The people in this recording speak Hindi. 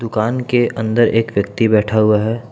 कान के अंदर एक व्यक्ति बैठा हुआ है।